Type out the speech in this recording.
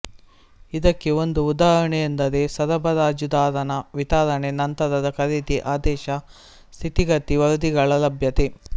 ಇದಕ್ಕೆ ಒಂದು ಉದಾಹರಣೆಯೆಂದರೆ ಸರಬರಾಜುದಾರನ ವಿತರಣೆ ನಂತರದ ಖರೀದಿ ಆದೇಶ ಸ್ಥಿತಿಗತಿ ವರದಿಗಳ ಲಭ್ಯತೆ